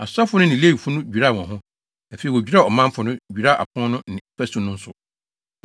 Asɔfo no ne Lewifo no dwiraa wɔn ho, afei wodwiraa ɔmanfo no, dwiraa apon no ne fasu no nso.